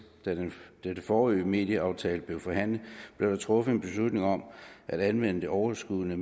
da den forrige medieaftale blev forhandlet blev der truffet en beslutning om at anvende det overskydende